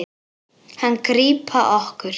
Hann grípa okkur.